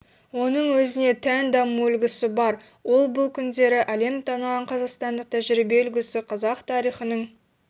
оның өзіне тән даму үлгісі бар ол бұл күндері әлем таныған қазақстандық тәжірибе үлгісі қазақ тарихының